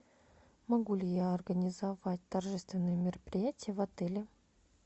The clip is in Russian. могу ли я организовать торжественное мероприятие в отеле